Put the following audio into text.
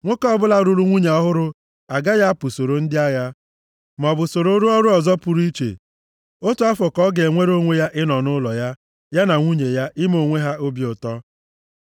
Nwoke ọbụla lụrụ nwunye ọhụrụ agaghị apụ soro ndị agha, maọbụ soro rụọ ọrụ ọzọ pụrụ iche, otu afọ ka ọ ga-enwere onwe ya ịnọ nʼụlọ ya, ya na nwunye ya, ime onwe ha obi ụtọ.